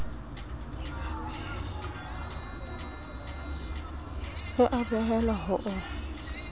e a behelwa ho o